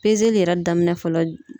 Pezeli yɛrɛ daminɛ fɔlɔ